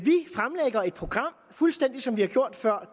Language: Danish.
program fuldstændig som vi har gjort før